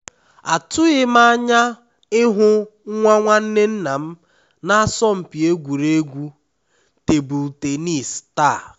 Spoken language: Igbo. atụghịm anya ịhụ nwa nwanne nnam na asọmpi egwuregwu table tennis taa